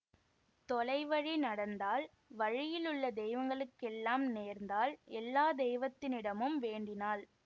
தொலை வழி நடந்தாள் வழியில் உள்ள தெய்வங்களுக்கெல்லாம் நேர்ந்தாள் எல்லா தெய்வத்தினிடமும் வேண்டினாள்